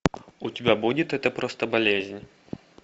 у тебя будет это просто болезнь